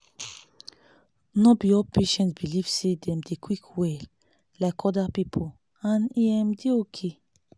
no be all patients belive say them dey quick well like other people and e um dey okay